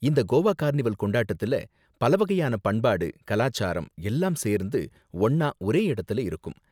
இந்த கோவா கார்னிவல் கொண்டாட்டத்துல பல வகையான பண்பாடு, கலாச்சாரம் எல்லாம் சேர்ந்து ஒண்ணா ஒரே இடத்துல இருக்கும்.